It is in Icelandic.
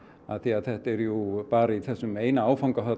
þetta er jú bara í þessum einum áfanga